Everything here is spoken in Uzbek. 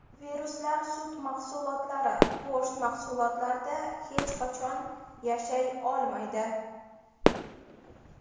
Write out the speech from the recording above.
Viruslar sut mahsulotlari, go‘sht mahsulotlarida hech qachon yashay olmaydi.